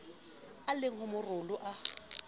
e le ho maloro a